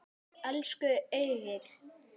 Elsku Egill.